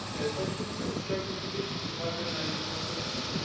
Panie Komisarzu, chciałbym zwrócić uwagę na jedną okoliczność.